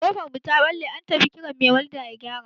Ƙofar mu ta ɓalle, an tafi kiran mai walda ya gyara.